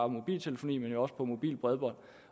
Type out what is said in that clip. mobiltelefoni men jo også på mobilt bredbånd